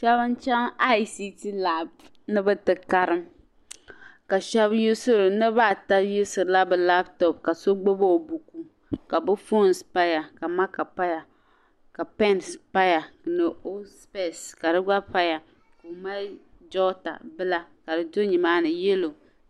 Shɛba n-chaŋ ICT lapu ni bɛ ti karim ka niriba yuusirila bɛ lapitɔpu ka so gbibi o buku ka foonnima paya ka maaka gba paya ka pɛnnima paya paya ni o sipɛsi ka di gba paya o ka mali jɔta bila ka di do nimaani yɛlo.